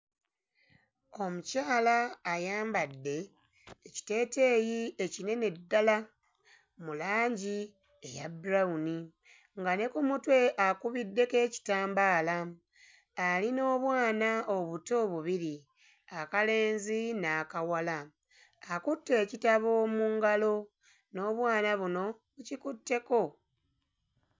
Omukyala ayambadde ekiteeteeyi ekinene ddala mu langi eya brown nga ne ku mutwe akubiddeko ekitambaala ali n'obwana obuto bubiri akalenzi n'akawala. Akutte ekitabo mu ngalo n'obwana buno bukikutteko.